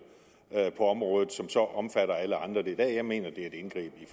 på området som så omfatter alle andre det er der jeg mener det er et indgreb i